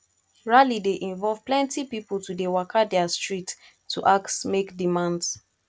rally de involve pilenty pipo to de waka their street to ask make demands